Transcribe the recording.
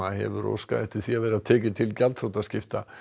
hefur óskað eftir því að vera tekið til gjaldþrotaskipta